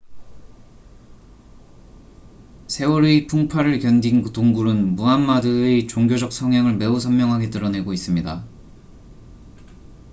세월의 풍파를 견딘 동굴은 무하마드의 종교적 성향을 매우 선명하게 드러내고 있습니다